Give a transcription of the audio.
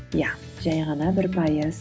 иә жай ғана бір пайыз